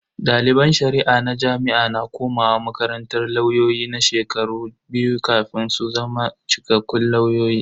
Daliban Shari'a na jami'a na komawa makarantar lauyoyi na shekaru biyu kafin su zama cikakkun lauyoyi.